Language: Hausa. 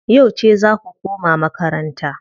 Yauce zaa ku koma makaranta?